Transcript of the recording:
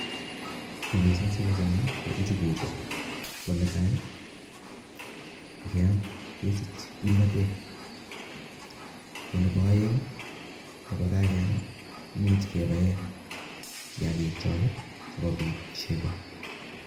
Missing siochome njugu chu ko netai ngeyam kesiche kimnotet ago nebo oeng' ye kageyam imuch kebaen kiagik chok sigobit chego